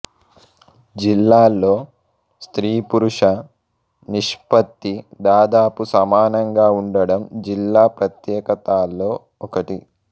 జిల్లాలో స్త్రీపురుష నిష్పత్తి దాదాపు సమానంగా ఉండడం జిల్లా ప్రత్యేకతాలో ఒకటి